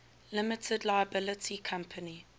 limited liability company